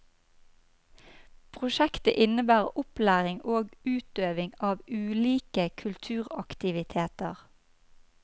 Prosjektet innebærer opplæring og utøving av ulike kulturaktiviteter.